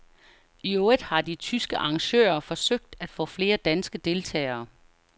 Iøvrigt har de tyske arrangører forsøgt at få flere danske deltagere.